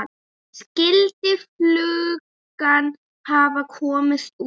Skyldi flugan hafa komist út?